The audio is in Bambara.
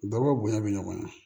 Baba bonya bɛ ɲɔgɔn na